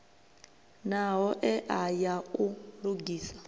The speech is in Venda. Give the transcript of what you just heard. na hoea ya u lugisa